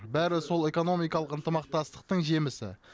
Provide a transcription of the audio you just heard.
бәрі сол экономикалық ынтымақтастықтың жемісі